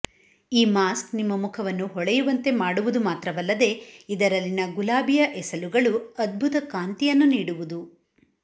ಈ ಮಾಸ್ಕ್ ನಿಮ್ಮ ಮುಖವನ್ನು ಹೊಳೆಯುವಂತೆ ಮಾಡುವುದು ಮಾತ್ರವಲ್ಲದೆ ಇದರಲ್ಲಿನ ಗುಲಾಬಿಯ ಎಸಲುಗಳು ಅದ್ಭುತ ಕಾಂತಿಯನ್ನು ನೀಡುವುದು